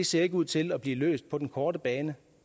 ser ud til at blive løst på den korte bane